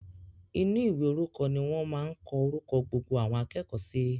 Inú ìwé orúkọ ni wọ́n máa n kọ orúkọ gbogbo àwọn akẹ́kọ̀ọ́ si